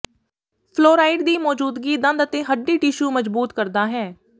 fluoride ਦੀ ਮੌਜੂਦਗੀ ਦੰਦ ਅਤੇ ਹੱਡੀ ਟਿਸ਼ੂ ਮਜ਼ਬੂਤ ਕਰਦਾ ਹੈ